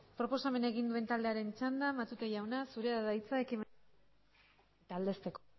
proposamena egin duen taldearen txanda matute jauna zurea da hitza ekimena aurkeztu eta aldezteko